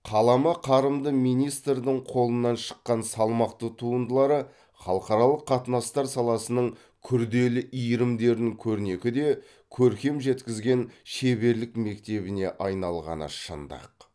қаламы қарымды министрдің қолынан шыққан салмақты туындылары халықаралық қатынастар саласының күрделі иірімдерін көрнекі де көркем жеткізген шеберлік мектебіне айналғаны шындық